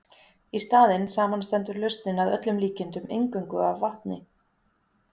Í staðinn samanstendur lausnin að öllum líkindum eingöngu af vatni.